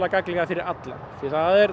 gagnlegar fyrir alla því það er